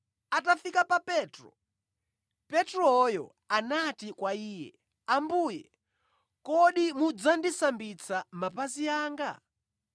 Atafika pa Petro, Petroyo anati kwa Iye, “Ambuye, kodi mudzandisambitsa mapazi anga?”